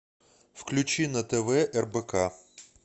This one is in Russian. включи на тв рбк